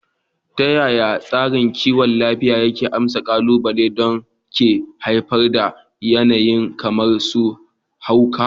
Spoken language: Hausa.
Ta yaya tsarin kiwon lafiya ke amsa ƙalubalen da ke haifar da yanayi kamar su hauka?